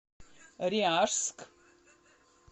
ряжск